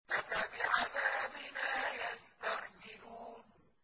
أَفَبِعَذَابِنَا يَسْتَعْجِلُونَ